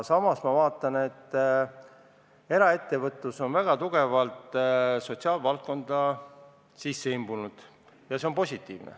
Samas ma vaatan, et eraettevõtlus on väga tugevalt sotsiaalvaldkonda sisse imbunud ja see on positiivne.